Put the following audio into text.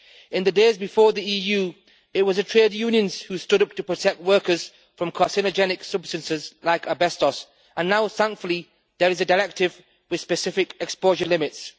In the days before the EU, it was the trade unions who stood up to protect workers from carcinogenic substances like asbestos, and now thankfully there is a directive with specific exposure limits.